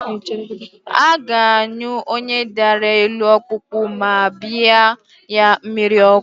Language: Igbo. A ga-anyụ onye dara elu ọkpụkpụ ma bịa ya mmiri ọkụ